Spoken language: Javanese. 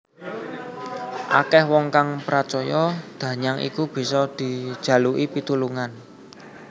Akeh wong kang pracaya danyang iku bisa dijaluki pitulungan